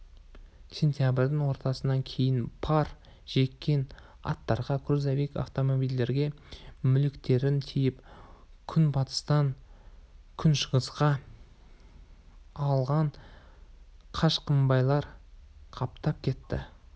сентябрьдің ортасынан кейін пар жеккен аттарға грузовик автомобильдерге мүліктерін тиеп күнбатыстан күншығысқа ағылған қашқынбайлар қаптап кетті